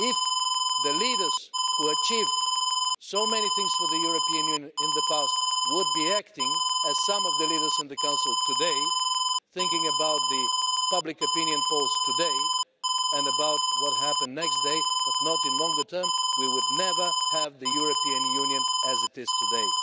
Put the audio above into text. If the leaders who achieved so many things for the European Union in the past had acted as some of the leaders in the Council are doing today thinking about public opinion polls today and about what happens the next day, but not in the longer term we would never have the European Union as it is today.